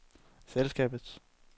selskabets